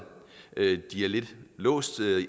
de er lidt låst